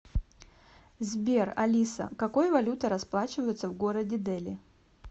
сбер алиса какой валютой расплачиваются в городе дели